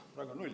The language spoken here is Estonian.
Peaaegu null.